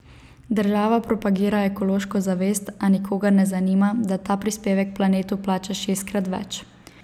Država propagira ekološko zavest, a nikogar ne zanima, da ta prispevek planetu plačaš šestkrat več.